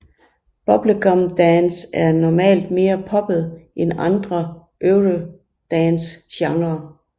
Bubblegum dance er normalt mere poppet end andre eurodancegenre